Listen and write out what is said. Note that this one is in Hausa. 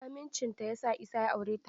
Amincinta ya sa Isa ya aure ta.